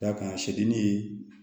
Dakan sedi ye